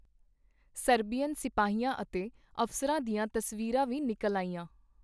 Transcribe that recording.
Serbian ਸਿਪਾਹੀਆਂ ਅਤੇ ਅਫਸਰਾਂ ਦੀਆਂ ਤਸਵੀਰਾਂ ਵੀ ਨਿਕਲ ਆਈਆਂ.